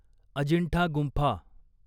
अजिंठा गुंफा